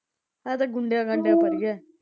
ਇਹ ਤਾਂ ਗੁੰਡੇ ਗੁੰਡਿਆਂ ਤਾ ਅੜੀਏ।